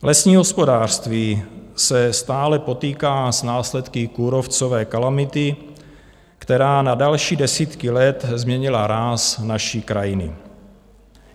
Lesní hospodářství se stále potýká s následky kůrovcové kalamity, která na další desítky let změnila ráz naší krajiny.